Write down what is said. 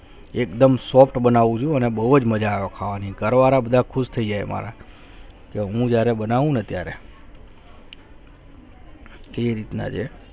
એકદમ soft બનવું ચુ અને બહુ ચ મજા આવે ખાવા માં ઘર વાળા ખુશ થયી છે હમારા હું જ્યાંને બનવું ના અત્યારે કઈ અત્યારે